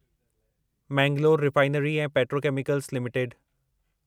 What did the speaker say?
Mangalore Refinery ऐं Petrochemicals limited